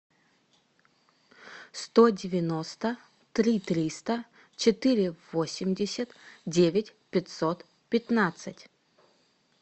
сто девяносто три триста четыре восемьдесят девять пятьсот пятнадцать